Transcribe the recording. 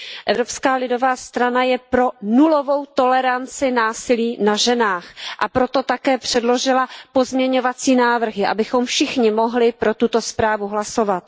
Evropská lidová strana je pro nulovou toleranci násilí na ženách, a proto také předložila pozměňovací návrhy, abychom všichni mohli pro tuto zprávu hlasovat.